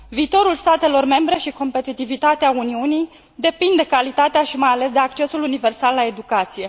Viitorul statelor membre și competitivitatea Uniunii depind de calitatea și, mai ales, de accesul universal la educație.